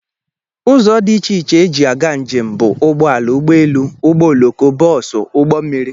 Ụzọ dị iche iche eji aga njem bụ ụgbọala, ụgbọ élú, ụgbọ ọloko, bosú, ụgbọ mmiri wdg.